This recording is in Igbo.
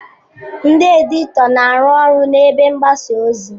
Ndị editọ na-arụ ọrụ na ebe mgbasa ozi.